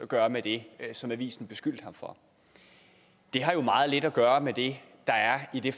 gøre med det som avisen beskyldte ham for det har jo meget lidt at gøre med det der er i